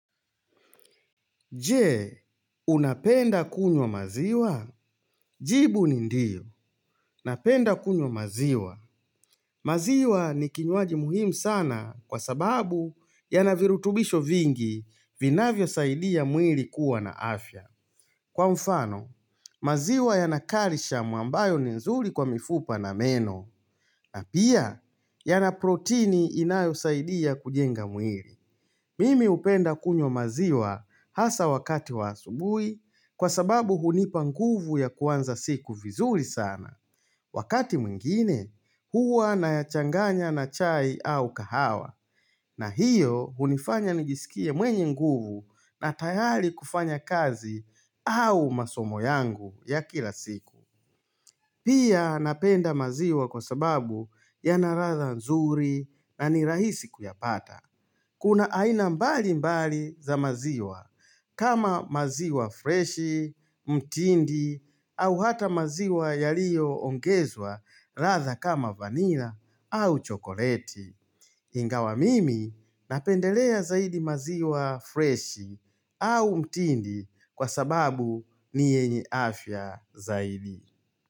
Je, unapenda kunywa maziwa? Jibu ni ndiyo, napenda kunywa maziwa. Maziwa ni kinywaji muhimu sana kwa sababu yanavirutubisho vingi vinavyosaidia mwili kuwa na afya. Kwa mfano, maziwa yana calcium ambayo ni nzuri kwa mifupa na meno. Na pia, yana protini inayosaidia kujenga mwili. Mimi hupenda kunywa maziwa hasa wakati wa asubuhi kwa sababu hunipa nguvu ya kuanza siku vizuri sana. Wakati mwingine, huwa nayachanganya na chai au kahawa. Na hiyo hunifanya nijisikie mwenye nguvu na tayari kufanya kazi au masomo yangu ya kila siku. Pia napenda maziwa kwa sababu yanaratha nzuri na ni rahisi kuyapata. Kuna aina mbali mbali za maziwa kama maziwa fresh, mtindi au hata maziwa yaliyongezwa radha kama vanila au chokoleti. Ingawa mimi napendelea zaidi maziwa freshi au mtindi kwa sababu ni yenye afya zaidi.